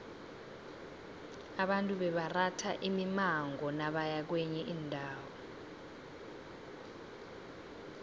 abantu bebaratha imimango nabaya kwenye indawo